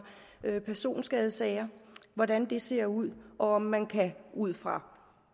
personskadesager hvordan det ser ud og om man ud fra